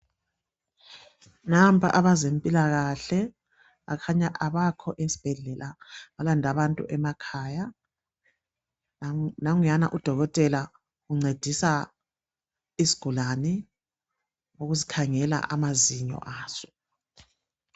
Nampa abezempilakahle bakhanya abakho esibhedlela balande abantu emakhaya. Nanguyana udokotela uncedisa isigulane ukusikhangela amazinyo aso.